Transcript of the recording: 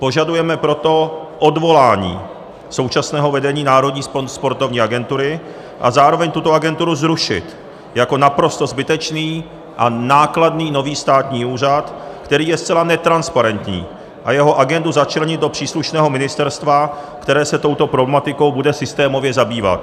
Požadujeme proto odvolání současného vedení Národní sportovní agentury a zároveň tuto agenturu zrušit jako naprosto zbytečný a nákladný nový státní úřad, který je zcela netransparentní, a jeho agendu začlenit do příslušného ministerstva, které se touto problematikou bude systémově zabývat.